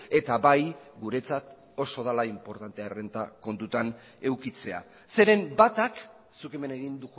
eta bai guretzat oso dela inportantea errenta kontuan edukitzea zeren batak zuk hemen egin